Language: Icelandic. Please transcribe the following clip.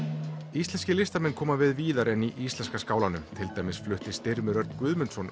íslenskir listamenn koma við víðar en í íslenska skálanum til dæmis flutti Styrmir Örn Guðmundsson